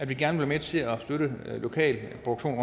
vil gerne være med til at støtte lokal produktion